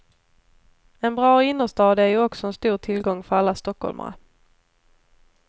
En bra innerstad är ju också en stor tillgång för alla stockholmare.